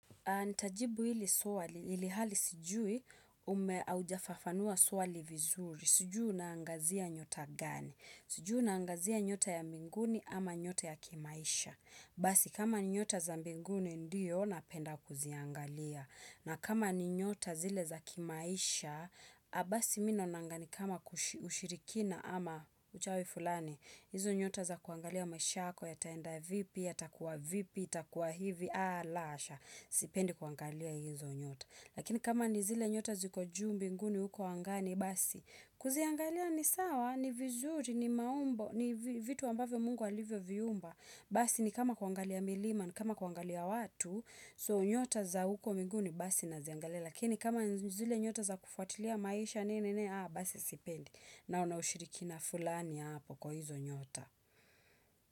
Nitajibu hili swali ilihali sijui ume aujafafanua swali vizuri sijui unaangazia nyota gani sijui unaangazia nyota ya mbinguni ama nyota ya kimaisha basi kama nyota za mbinguni ndiyo napenda kuziangalia na kama nyota zile za kimaisha basi mi naonanga ni kama kushi ushirikina ama uchawi fulani hizo nyota za kuangalia maisha yako yataenda vipi yatakuwa vipi yatakuwa hivi a la hasha sipendi kuangalia hizo nyota Lakini kama ni zile nyota ziko juu mbinguni huko angani basi kuziangalia ni sawa ni vizuri ni maumbo ni vi vitu ambavyo mungu alivyo viumba Basi ni kama kuangalia milima ni kama kuangalia watu so nyota za huko minguni basi naziangalia Lakini kama nzu zile nyota za kufuatilia maisha nini nini aa basi sipendi naona ushirikina fulani hapo kwa hizo nyota.